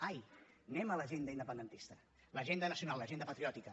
ai anem a l’agenda independentista l’agenda nacional l’agenda patriòtica